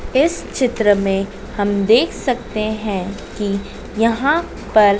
इस चित्र में हम देख सकते हैं कि यहां पर--